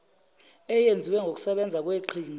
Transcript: eyenziwe ngokusebenza kweqhinga